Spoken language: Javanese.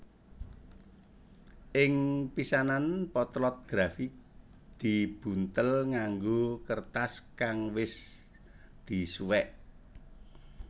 Ing pisanan potlot grafit dibuntel nganggo kertas kang wis disuwek